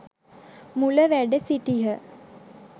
මුල වැඩ සිටියහ.